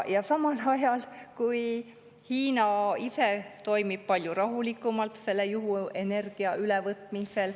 Samal ajal Hiina ise toimib palju rahulikumalt selle juhuenergia ülevõtmisel.